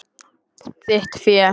Þitt fé.